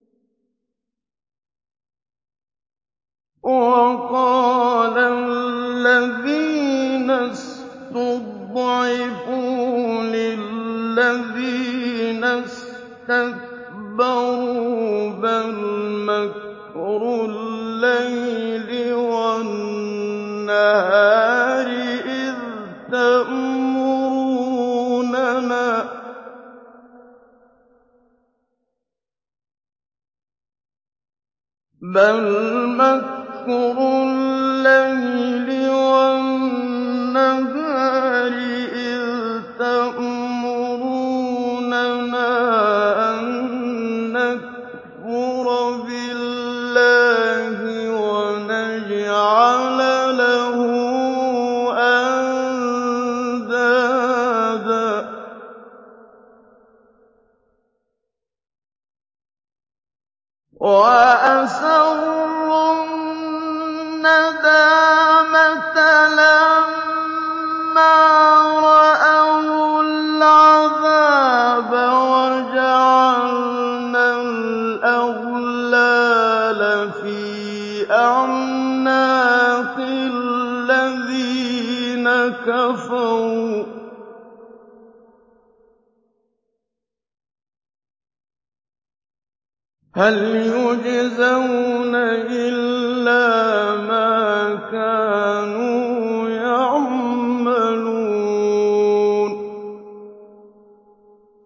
وَقَالَ الَّذِينَ اسْتُضْعِفُوا لِلَّذِينَ اسْتَكْبَرُوا بَلْ مَكْرُ اللَّيْلِ وَالنَّهَارِ إِذْ تَأْمُرُونَنَا أَن نَّكْفُرَ بِاللَّهِ وَنَجْعَلَ لَهُ أَندَادًا ۚ وَأَسَرُّوا النَّدَامَةَ لَمَّا رَأَوُا الْعَذَابَ وَجَعَلْنَا الْأَغْلَالَ فِي أَعْنَاقِ الَّذِينَ كَفَرُوا ۚ هَلْ يُجْزَوْنَ إِلَّا مَا كَانُوا يَعْمَلُونَ